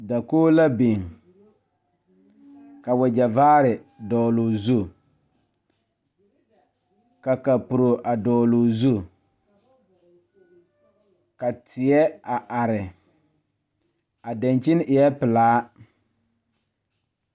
Dakoge la biŋ ka wagyɛ vaare dɔgloo zu ka kapuro a dɔgloo zu ka teɛ a are a dankyini eɛɛ pelaa.